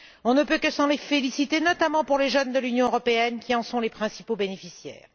On ne peut que s'en féliciter, notamment pour les jeunes de l'Union européenne, qui en sont les principaux bénéficiaires.